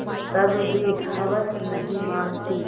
तब भी हवस नहीं मानती